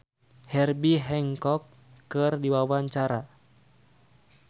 Dedi Petet olohok ningali Herbie Hancock keur diwawancara